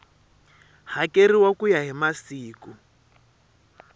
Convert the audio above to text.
hakeriwa ku ya hi masiku